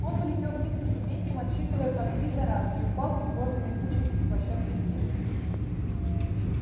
он полетел вниз по ступенькам отсчитывая по три за раз и упал бесформенной кучей площадкой ниже